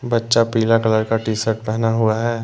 बच्चा पीला colour T shirt पहना हुआ है।